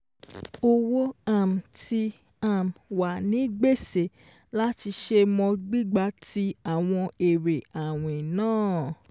Owó um ti um wà ní gbèsè láti ṣe mọ gbígba tí àwọn èrè àwìn náà.